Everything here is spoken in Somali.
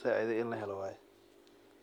sacideyo in lahelo waye.